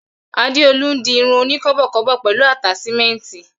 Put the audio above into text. Adeolu n di irun oni kọ́bọ̀kọ́bọ̀ pẹlu ataṣimẹnti.